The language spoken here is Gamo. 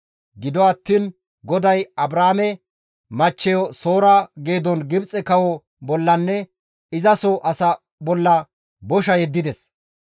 Gido attiin GODAY Abraame machcheyo Soora geedon Gibxe kawo bollanne izaso asaa bolla bosha yeddides.